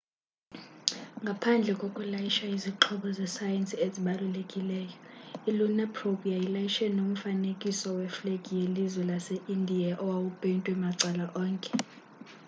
ngaphandle kokulayisha izixhobo zesayensi ezibalulekileyo i-lunar probe yayilayishe nomfanekiso weflegi yelizwe lase-indiya owawupeyntwe macala onke